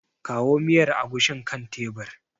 Kawo miyar agushin kan tebir.